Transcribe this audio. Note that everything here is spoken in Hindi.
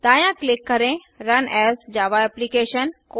दायाँ क्लिक करें रुन एएस जावा एप्लिकेशन